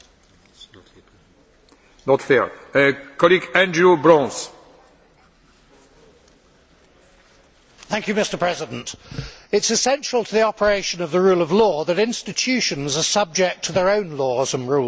Mr President, it is essential to the operation of the rule of law that institutions are subject to their own laws and rules.